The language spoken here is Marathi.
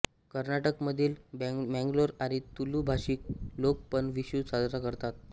कर्नाटक मधील मंगलोर आणि तुलू भाषीक लोक पण विषु साजरा करतात